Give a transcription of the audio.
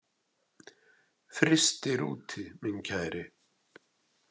Frystir úti minn kæri.